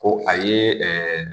Ko a ye